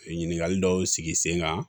Ɲininkali dɔw sigi sen kan